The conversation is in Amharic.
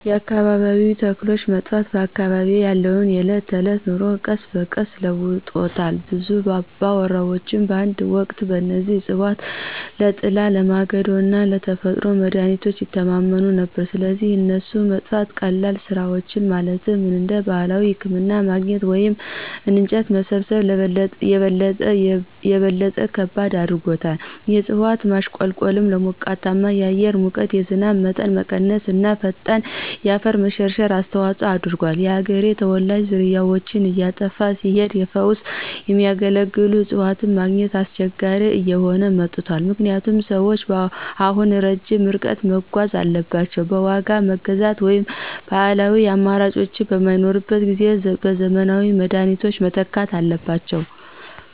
የአካባቢያዊ ተክሎች መጥፋት በአካባቢዬ ያለውን የዕለት ተዕለት ኑሮ ቀስ በቀስ ለውጦታል. ብዙ አባወራዎች በአንድ ወቅት በእነዚህ እፅዋት ለጥላ፣ ለማገዶ እና ለተፈጥሮ መድሀኒቶች ይተማመኑ ነበር፣ ስለዚህ የእነሱ መጥፋት ቀላል ስራዎችን ማለትም እንደ ባህላዊ ህክምና ማግኘት ወይም እንጨት መሰብሰብን - የበለጠ ከባድ አድርጎታል። የእጽዋት ማሽቆልቆሉ ለሞቃታማ የአየር ሙቀት፣ የዝናብ መጠን መቀነስ እና ፈጣን የአፈር መሸርሸር አስተዋጽኦ አድርጓል። የአገሬው ተወላጆች ዝርያዎች እየጠፉ ሲሄዱ ለፈውስ የሚያገለግሉ እፅዋትን ማግኘት አስቸጋሪ እየሆነ መጥቷል ምክንያቱም ሰዎች አሁን ረጅም ርቀት መጓዝ አለባቸው፣ በዋጋ መግዛት ወይም ባህላዊው አማራጮች በማይኖሩበት ጊዜ በዘመናዊ መድኃኒቶች መተካት አለባቸው።